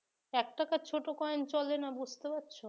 এক টাকার ছোট coin চলে না বুঝতে পারছ